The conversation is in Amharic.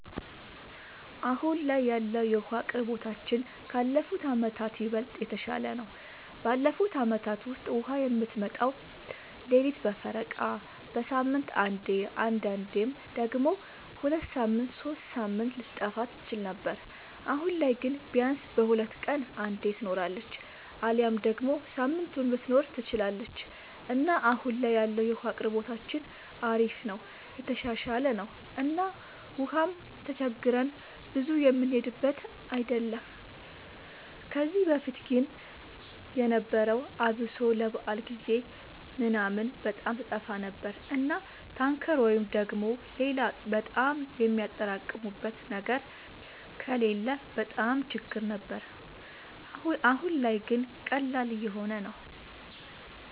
አሁን ላይ ያለወለ የዉሀ አቅርቦታችን ካለፉት አመታት ይበልጥ የተሻለ ነው። ባለፉት አመታት ውስጥ ውሃ የምትመጣው ሌሊት በፈረቃ፣ በሳምንት አንዴ አንዳንዴም ደግሞ ሁለት ሳምንት ሶስት ሳምንት ልትጠፋ ትችል ነበር። አሁን ላይ ግን ቢያንስ በሁለት ቀን አንዴ ትኖራለች አሊያም ደግሞ ሳምንቱንም ልትኖር ትችላለች እና አሁን ላይ ያለው የውሃ አቅርቦታችን አሪፍ ነው የተሻሻለ ነው እና ውሃም ተቸግረን ብዙ የምንሄድበት አይደለም። ከዚህ በፊት ግን የነበረው አብሶ ለበዓል ጊዜ ምናምን በጣም ትጠፋ ነበር እና ታንከር ወይ ደግሞ ሌላ በጣም የሚያጠራቅሙበት ነገር ከሌለ በጣም ችግር ነበር። አሁን ላይ ግን ቀላል እየሆነ ነው።